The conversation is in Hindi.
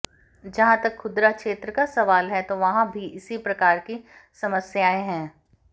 जहां तक खुदरा क्षेत्र का सवाल है तो वहां भी इसी प्रकार की समस्याएं हैं